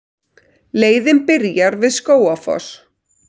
Leiðin byrjar við Skógafoss.